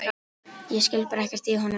Ég skil bara ekkert í honum!